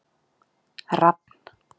Rafn